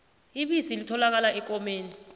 ibisi litholakala ekomeni